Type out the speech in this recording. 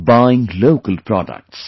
buying local products